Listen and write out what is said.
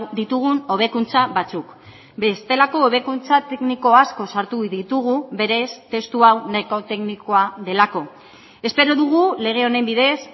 ditugun hobekuntza batzuk bestelako hobekuntza tekniko asko sartu ditugu berez testu hau nahiko teknikoa delako espero dugu lege honen bidez